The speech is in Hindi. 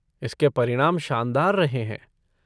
इसके परिणाम शानदार रहे हैं।